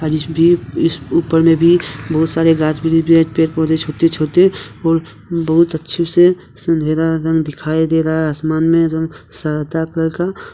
इस भी इस ऊपर में भी बहुत सारे गान्छ भी पेड़ पौधे छोते छोते और बहुत अच्छे से सिंधुरा रंग दिखाई दे रहा है आसमान में एकदम सादा कलर का --